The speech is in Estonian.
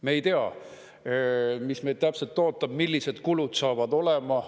Me ei tea, mis meid täpselt ootab, millised kulud saavad olema.